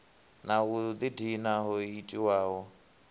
na u ḓidina ho itiwaho